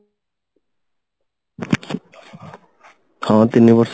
ହଁ ତିନି ବର୍ଷ